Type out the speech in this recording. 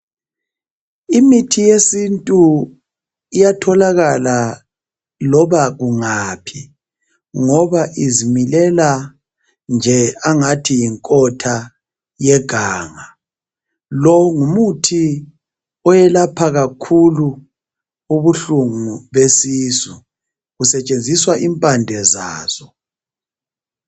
Imithi yesintu iyatholakala loba kungaphi ngoba izimilela nje engathi yinkotha yeganga lo ngumuthi oyelapha kakhulu ubuhlungu besisu kusetshenziswa impande zaso